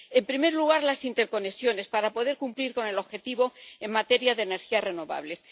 En primer lugar, las interconexiones, para poder cumplir el objetivo en materia de energías renovables.